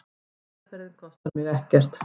Meðferðin kostar mig ekkert.